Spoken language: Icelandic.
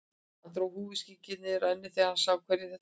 Hann dró húfuskyggnið niður á ennið þegar hann sá hverjir þetta voru.